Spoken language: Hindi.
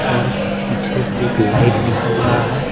और पीछे से एक लाइट निकल रहा है ।